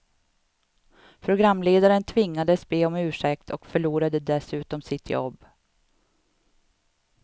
Programledaren tvingades be om ursäkt och förlorade dessutom sitt jobb.